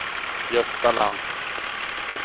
Gösta Lantz